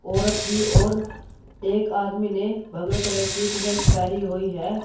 औरत भी और एक आदमी ने भगवे कलर की टी शर्ट पेहनी हुई है।